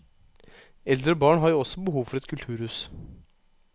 Eldre og barn har jo også behov for et kulturhus.